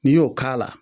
N'i y'o k'a la